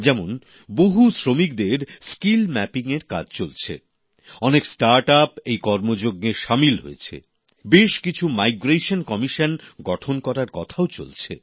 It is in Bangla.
যেমন বহু শ্রমিকদের দক্ষতা নির্ধারণের কাজ চলছে অনেক স্টার্ট আপও এই কর্মযজ্ঞে শামিল হয়েছে বেশ কিছু পরিযায়ী শ্রমিক কমিশন গঠন করার কথাও চলছে